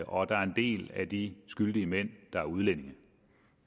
og der er en del af de skyldige mænd der er udlændinge